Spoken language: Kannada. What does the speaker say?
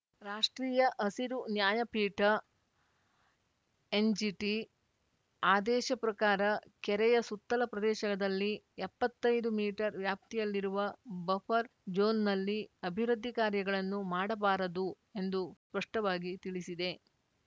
ರಾಷ್ಟ್ರೀಯ ಹಸಿರು ನ್ಯಾಯಪೀಠ ಎನ್‌ಜಿಟಿ ಆದೇಶ ಪ್ರಕಾರ ಕೆರೆಯ ಸುತ್ತಲ ಪ್ರದೇಶದಲ್ಲಿ ಎಪ್ಪತ್ತೈದು ಮೀಟರ್ ವ್ಯಾಪ್ತಿಯಲ್ಲಿರುವ ಬಫರ್‌ ಜೋನ್‌ನಲ್ಲಿ ಅಭಿವೃದ್ಧಿ ಕಾರ್ಯಗಳನ್ನು ಮಾಡಬಾರದು ಎಂದು ಸ್ಪಷ್ಟವಾಗಿ ತಿಳಿಸಿದೆ